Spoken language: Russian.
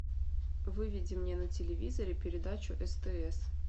выведи мне на телевизоре передачу стс